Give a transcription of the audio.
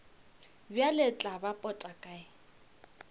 bjale tla ba pota kae